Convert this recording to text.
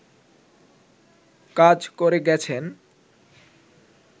কাজ করে গেছেন